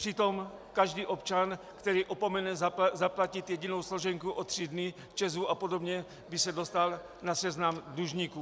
Přitom každý občan, který opomene zaplatit jedinou složenku o tři dny ČEZu a podobně, by se dostal na seznam dlužníků.